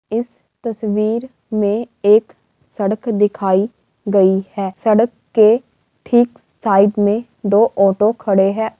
इस तस्वीर में एक सड़क दिखाई गई है। सड़क के ठीक साइड में दो ऑटो खड़े हैं।